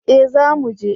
Eh za mu je